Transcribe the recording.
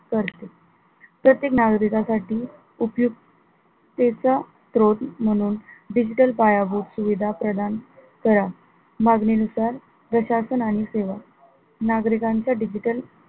करते तर ते नागरिकांसाठी उपयुक्तेचा स्रोत म्हणून digital पायाभूत सुविधा म्हणून मागणी नुसार प्रशासन आणि सेवा नागरिकांचे digital